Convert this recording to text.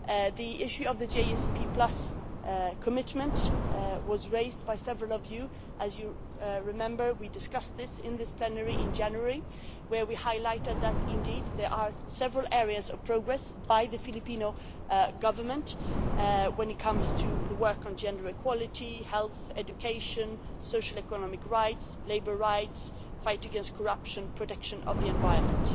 The issue of the GSP commitment was raised by several of you, as you remember we discussed this in this plenary in January where we highlighted that indeed, there are several areas of progress by the Philippine Government when it comes to the work on gender equality health, education, social and economic rights, labour rights, fight against corruption, protection of the environment.